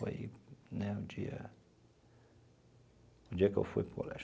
Foi né o dia o dia que eu fui para o colégio.